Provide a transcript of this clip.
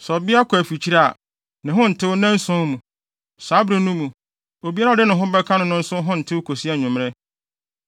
“ ‘Sɛ ɔbea kɔ afikyiri a, ne ho ntew nnanson mu. Saa bere no mu, obiara a ɔde ne ho bɛka no no nso ho ntew kosi anwummere.